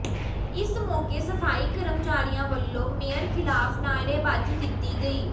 ਇਸ ਮੌਕੇ ਸਫਾਈ ਕਰਮਚਾਰੀਆਂ ਵਲੋਂ ਮੇਅਰ ਖਿਲਾਫ ਨਾਅਰੇਬਾਜੀ ਕੀਤੀ ਗਈ